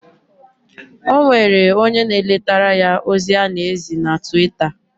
Onwere onye na eletara ya ozi ana ezi na Twitter.